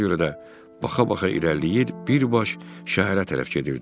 Buna görə də baxa-baxa irəliləyir, bir baş şəhərə tərəf gedirdim.